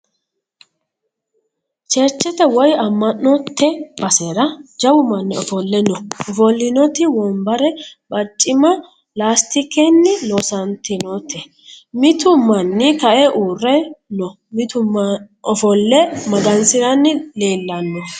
Cherchete woyi amma'nte basera jawu manni ofole no. Ofollinoti wonbarra barcimma laastikenni loosantinote. Mitu manni kae uurre no. Mitu ofolle magansiranni leellanno.